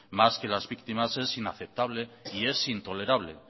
más que las víctimas es inaceptable y es intolerable